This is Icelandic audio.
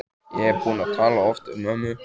Ég er búin að tala oft um ömmu.